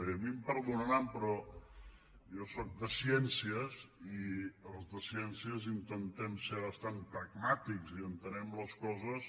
i a mi em perdonaran però jo sóc de ciències i els de ciències intentem ser bastant pragmàtics i entenem les coses